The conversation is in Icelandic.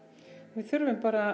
við þurfum bara